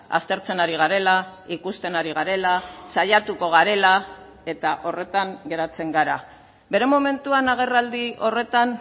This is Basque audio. aztertzen ari garela ikusten ari garela saiatuko garela eta horretan geratzen gara bere momentuan agerraldi horretan